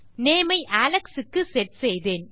name ஐ Alex க்கு set செய்தேன்